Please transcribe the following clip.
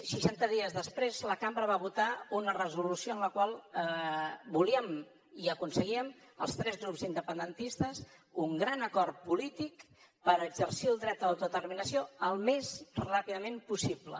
seixanta dies després la cambra va votar una resolució en la qual volíem i aconseguíem els tres grups independentistes un gran acord polític per exercir el dret a l’autodeterminació el més ràpidament possible